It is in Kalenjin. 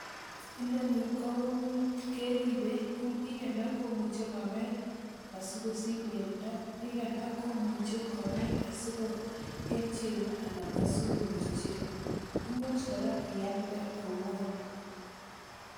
Inoni keripe, eng piik alak komuche kobai asikosich pendo, eng piik alak komuche kobai asikosich chego ana asikonyor chego. Imuch kora ialde.